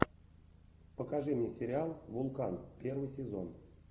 покажи мне сериал вулкан первый сезон